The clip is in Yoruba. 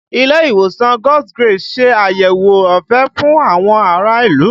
Ilé ìwòsàn God's grace ń ṣe àyẹ̀wò ọ̀fẹ́ fún àwọn ará ìlú